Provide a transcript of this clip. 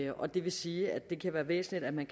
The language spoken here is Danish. og det vil sige at det kan være væsentligt at man